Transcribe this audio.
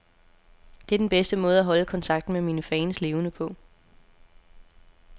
Det er den bedste måde at holde kontakten med mine fans levende på.